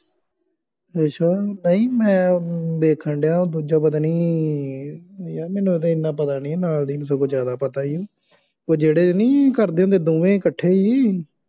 ਅੱਛਾ